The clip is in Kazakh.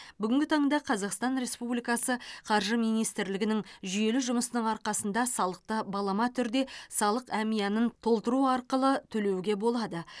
бүгінгі таңда қазақстан республикасы қаржы министрлігінің жүйелі жұмысының арқасында салықты балама түрде салық әмиянын толтыру арқылы төлеуге болады